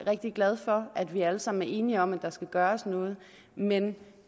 rigtig glad for at vi alle sammen er enige om at der skal gøres noget men